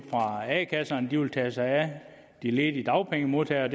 fra a kasserne det vil tage sig af de ledige dagpengemodtagere og